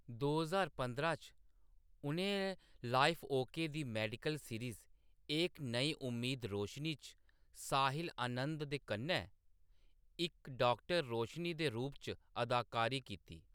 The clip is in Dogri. दो ज्हार पंदरां च, उʼनें लॉइफ ओके दी मेडिकल सीरीज़ एक नई उम्मीद-रोशनी च साहिल आनंद दे कन्नै इक डाक्टर, रोशनी दे रूप च अदाकारी कीती।